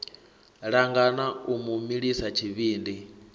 langana u mu milisa tshivhindi